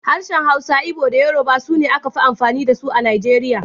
Harshen Hausa da Igbo da Yoruba su ne aka fi amfani da su A Najeriya.